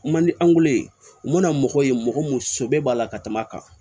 Mandi an wolo yen n'o na mɔgɔ ye mɔgɔ mun sɛbɛ b'a la ka tɛmɛ a kan